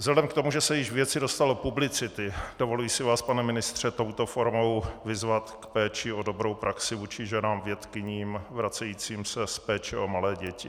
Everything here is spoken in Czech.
Vzhledem k tomu, že se již věci dostalo publicity, dovoluji si vás, pane ministře, touto formou vyzvat k péči o dobrou praxi vůči ženám-vědkyním vracejícím se z péče o malé děti.